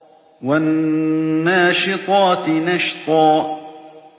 وَالنَّاشِطَاتِ نَشْطًا